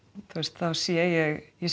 þá sé ég ég